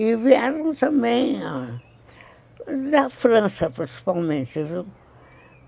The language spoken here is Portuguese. E vieram também da França, principalmente, viu?